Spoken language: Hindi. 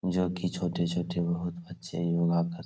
जो की छोटे-छोटे बहुत बच्चे योगा कर --